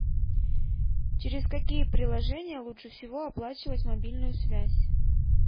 через какие приложения лучше всего оплачивать мобильную связь